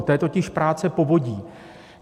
To je totiž práce povodí.